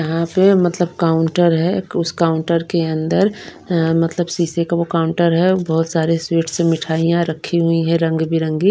यहां पे मतलब काउंटर है उस काउंटर के अंदर अ मतलब शीशे का वो काउंटर है बहुत सारे स्वीट्स मिठाइयां रखी हुई है रंग बिरंगी।